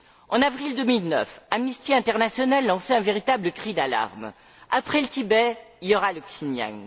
En avril 2009, Amnesty International lançait un véritable cri d'alame après le Tibet, il y aura le Xinijiang.